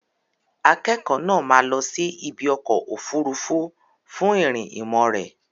Akẹ́kọ̀ọ́ náà máa lọ sí ibi ọkọ̀ òfuurufú fún ìrìn ìmọ̀ rẹ̀.